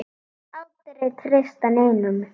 Aldrei að treysta neinum.